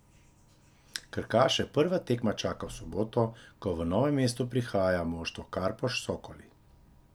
Krkaše prva tekma čaka v soboto, ko v Novo mesto prihaja moštvo Karpoš Sokoli.